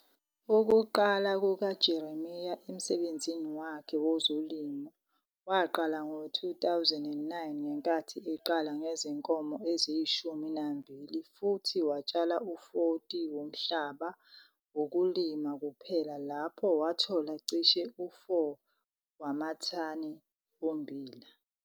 Ukuqala kukaJeremia emsebenzini wakhe wezolimo waqala ngo-2009 ngenkathi eqala ngezinkomo eziyishumi nambili futhi watshala u-40 ha womhlaba wokulima kuphela lapho wathola cishe u-4 wamathani ommbila.